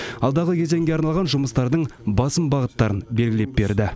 алдағы кезеңге арналған жұмыстардың басым бағыттарын белгілеп берді